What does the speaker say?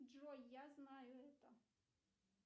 джой я знаю это